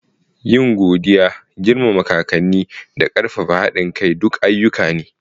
Yin godiya, girmama kakanni, da ƙarfafa haɗin kai duk ayyuka ne.